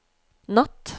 natt